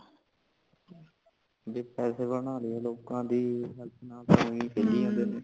ਜੇ ਪੈਸੇ ਬਣਾ ਲੀਯੇ ਲੋਕਾਂ ਦੀ health ਨਾਲ ਉਇ ਖੇਡੀ ਜਾਂਦੇ ਨੇ (overlap )